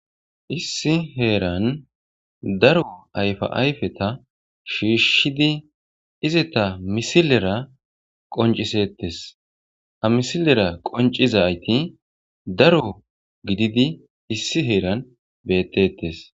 Issi heeran daro ayfa ayfeta shiishshidi izeta misilera qoncisettes amisilera qoncizayti daro gididi issi heeran beettettes.